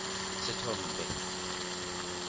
sethombe